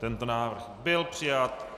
Tento návrh byl přijat.